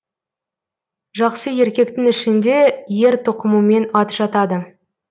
жақсы еркектің ішінде ер тоқымымен ат жатады